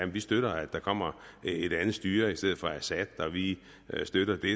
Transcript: vi støtter at der kommer et andet styre i stedet for assad og vi støtter det